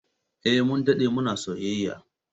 Eh, Mun dade muna soyayya